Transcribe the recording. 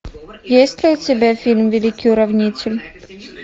есть ли у тебя фильм великий уравнитель